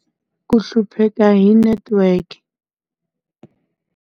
Ku hlupheka hi network.